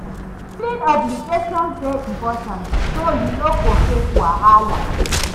Filing obligations dey important so yu no go face wahala